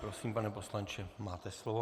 Prosím, pane poslanče, máte slovo.